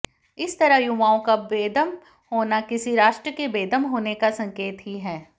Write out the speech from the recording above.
इस तरह युवाओं का बेदम होना किसी राष्ट्र के बेदम होने का संकेत ही है